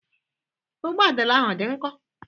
Ogbụadịla ahụ ọ dị nkọ?